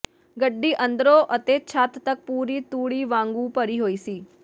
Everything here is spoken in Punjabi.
ਗੱਡੀ ਅੰਦਰੋਂ ਅਤੇ ਛੱਤ ਤਕ ਪੂਰੀ ਤੂੜੀ ਵਾਂਗੂ ਭਰੀ ਹੋਈ ਸੀ